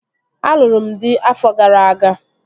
Alụrụ m dị afọ gara aga